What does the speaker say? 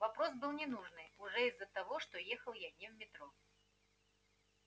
вопрос был ненужный уже из-за того что ехал я не в метро